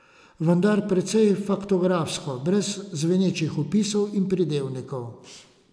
Vendar precej faktografsko, brez zvenečih opisov in pridevnikov.